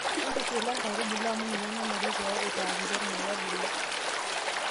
intushula inkaitubulu amu ninye nanare pee itaakiti ormuya ebulu